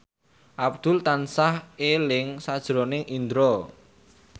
Abdul tansah eling sakjroning Indro